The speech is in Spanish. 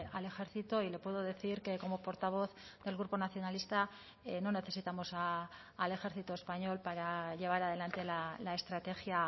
al ejército y le puedo decir que como portavoz del grupo nacionalista no necesitamos al ejército español para llevar adelante la estrategia